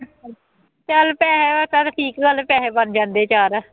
ਚੱਲ ਪੈਸਿਆਂ ਦਾ ਚੱਲ ਠੀਕ ਗੱਲ, ਪੈਸੇ ਬਣ ਜਾਂਦੇ ਚਾਰ